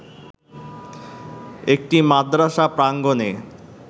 একটি মাদ্রাসা প্রাঙ্গনে